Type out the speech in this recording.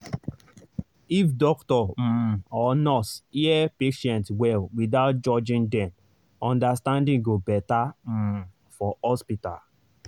if doctor um or nurse hear patient well without judging dem understanding go better um for hospital.